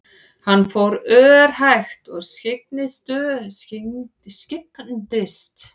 Hann fór örhægt og skyggndist stöðugt niður grýtta hlíðina af hræðslu við að missa fótanna.